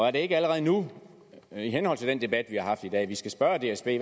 er det ikke allerede nu i henhold til den debat vi har haft i dag vi skal spørge dsb